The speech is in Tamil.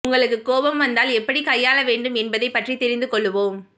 உங்களுக்கு கோபம் வந்தால் எப்படிக் கையாள வேண்டும் என்பதைப் பற்றி தெரிந்து கொள்வோம்